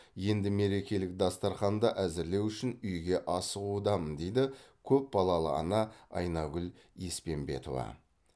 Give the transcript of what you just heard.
енді мерекелік дастарханды әзірлеу үшін үйге асығудамын дейді көпбалалы ана айнагүл еспенбетова